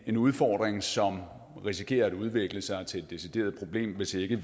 en udfordring som risikerer at udvikle sig til et decideret problem hvis vi ikke